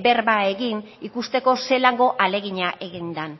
berba egin ikusteko zelango ahalegina egin den